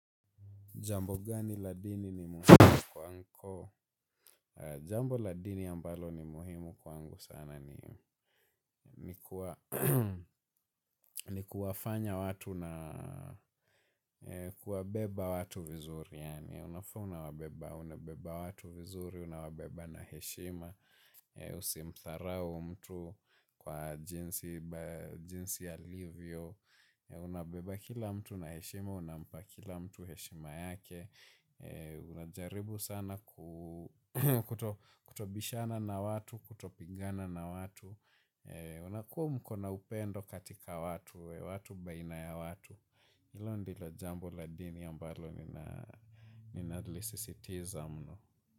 Jambo gani la dini ni muhimu kwako? Jambo la dini ambalo ni muhimu kwangu sana ni kuwafanya watu na kuwabeba watu vizuri. Yaani unafaa unawabeba, unabeba watu vizuri, unawabeba na heshima, usimdharau mtu kwa jinsi alivyo. Unabeba kila mtu na heshima, unabeba kila mtu heshima yake. Unajaribu sana kutobishana na watu, kutopigana na watu unakuwa mko na upendo katika watu, watu baina ya watu hilo ndilo jambo la dini ambalo ninalisisitiza mno.